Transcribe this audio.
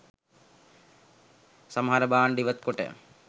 සමහර භාණ්ඩ ඉවත්කොට